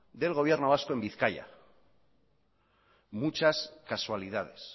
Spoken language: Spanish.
del gobierno vasco en bizkaia muchas casualidades